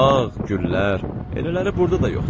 Bağ, güllər, elələri burada da yoxdur.